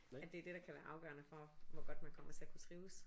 At det er dét der kan være afgørende for hvor godt man kommer til at kunne trives